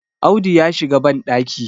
Audu ya shiga bandaki